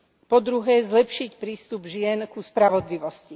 Po druhé, zlepšiť prístup žien ku spravodlivosti.